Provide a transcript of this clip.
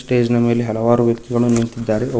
Stage ನ ಮೇಲೆ ಹಲವಾರು ವ್ಯಕ್ತಿಗಳು ನಿಂತಿದ್ದಾರೆ.